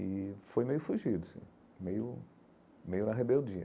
E foi meio fugido, assim, meio meio na rebeldia.